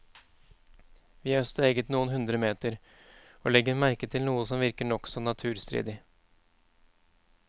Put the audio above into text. Vi har steget noen hundre meter, og legger merke til noe som virker nokså naturstridig.